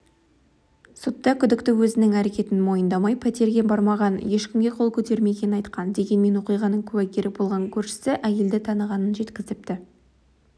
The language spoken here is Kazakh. сотта күдікті өзінің әрекетін мойындамай пәтерге бармағанын ешкімге қол көтермегенін айтқан дегенмен оқиғаның куәгері болған көршісі әйелді танығанын жеткізіпті